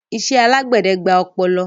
Ìṣẹ̀ alágbèdẹ̀ gbà òpoló